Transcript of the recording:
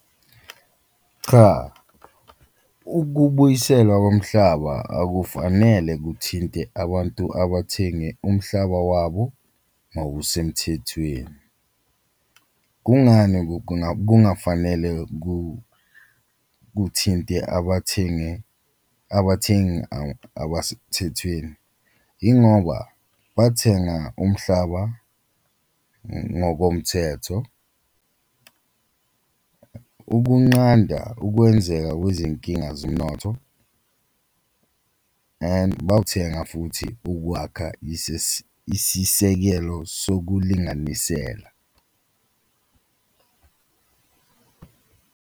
Cha, ukubuyiselwa komhlaba akufanele kuthinte abantu abathenge umhlaba wabo ngokusemthethweni, kungani kungafanele kuthinte abathengi abathengi abasemthethweni? Ingoba bathenga umhlaba ngokomthetho, ukunqanda ukwenzeka kwezinkinga zomnotho and bawuthenga futhi ukwakha isisekelo sokulinganisela.